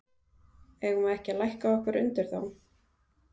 Eigum við ekki að lækka okkur undir þá?